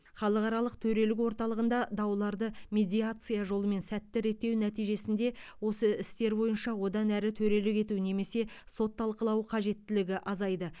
халықаралық төрелік орталығында дауларды медиация жолымен сәтті реттеу нәтижесінде осы істер бойынша одан әрі төрелік ету немесе сот талқылауы қажеттілігі азайды